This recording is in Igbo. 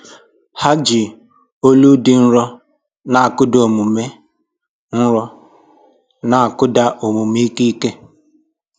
Ha ji olu dị nro na-akụda omume nro na-akụda omume ike ike